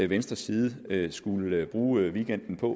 venstres side skulle bruge weekenden på